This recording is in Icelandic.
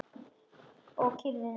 Og kyrrðin algjör.